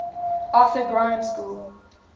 arthur grimes school